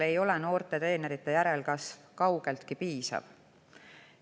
Noorte treenerite järelkasv ei ole kaugeltki piisav.